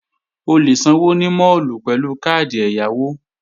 O lè sanwó ní máàlù pẹ̀lú káàdì ẹ̀yáwó